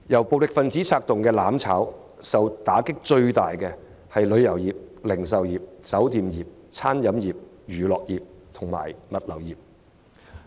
暴力分子策動"攬炒"，首當其衝的是旅遊業、零售業、酒店業、餐飲業、娛樂業及物流業。